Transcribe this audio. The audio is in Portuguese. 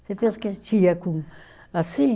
Você pensa que a gente ia com, assim?